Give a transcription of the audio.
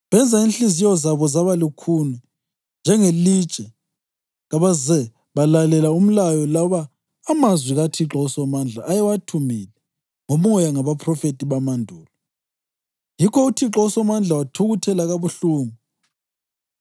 Benza inhliziyo zabo zaba lukhuni njengelitshe kabaze balalela umlayo loba amazwi kaThixo uSomandla ayewathumile ngoMoya ngabaphrofethi bamandulo. Yikho uThixo uSomandla wathukuthela kabuhlungu.